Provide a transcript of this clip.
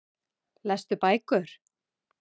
Lestu bækur?